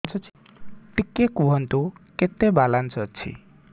ଟିକେ କୁହନ୍ତୁ କେତେ ବାଲାନ୍ସ ଅଛି